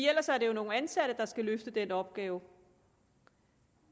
ellers var det jo nogle ansatte der skulle løfte den opgave